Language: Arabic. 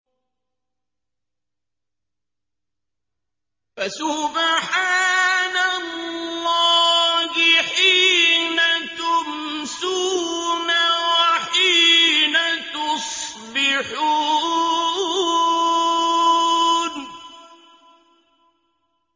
فَسُبْحَانَ اللَّهِ حِينَ تُمْسُونَ وَحِينَ تُصْبِحُونَ